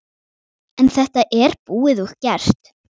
En þetta er búið og gert.